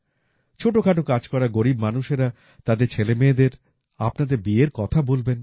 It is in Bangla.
ছোট খাটো কাজ করা গরীব মানুষেরা তাদের ছেলেমেয়েদের আপনাদের বিয়ের কথা বলবেন